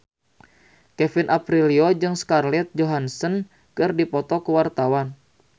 Kevin Aprilio jeung Scarlett Johansson keur dipoto ku wartawan